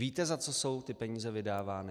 Víte, za co jsou ty peníze vydávány?